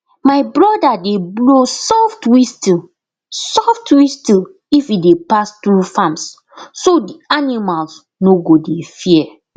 my brother dey blow soft whistle soft whistle if e dey pass through farms so d animals no go dey fear